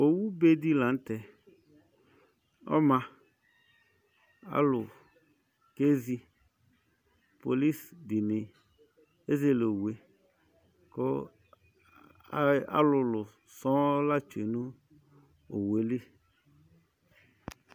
Owube dɩ la nʋ tɛ ɔma Alʋ kezi Polis dɩnɩ ezele owu yɛ kʋ a alʋlʋ sɔŋ la tsue nʋ owu yɛ li